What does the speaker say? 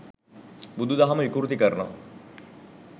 බුදු දහම විකෘති කරනවා